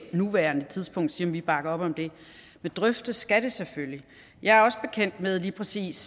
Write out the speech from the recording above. nuværende tidspunkt sige om vi bakker op om det men drøftes skal det selvfølgelig jeg er også bekendt med lige præcis